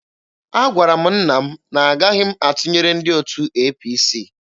Agwara m nna m na-agaghị m atụnyere ndị otu APC.